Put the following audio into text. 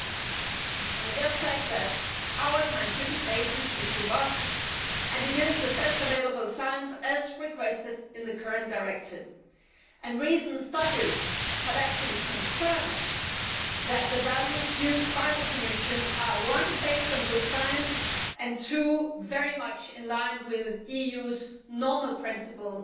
May I just say that our scientific basis is robust and it is the best available science, as requested in the current directive, and recent studies have actually confirmed that the values used by the Commission are based on good science and very much in line with the EU's normal principle